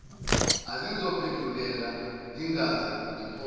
azoziphendulela ngingaze ngiphole